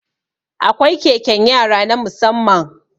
Akwai keken yara na musamman